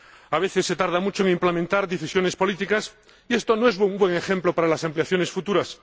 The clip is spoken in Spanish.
A veces, se tarda mucho en aplicar decisiones políticas y esto no es un buen ejemplo para las ampliaciones futuras.